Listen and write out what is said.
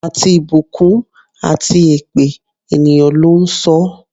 Àti ìbùkún àti èpè, ènìyàn ló ń sọ ọ́.